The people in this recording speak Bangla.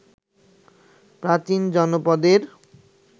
প্রাচীন জনপদের